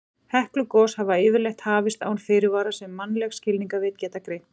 Heklugos hafa yfirleitt hafist án fyrirvara sem mannleg skilningarvit geta greint.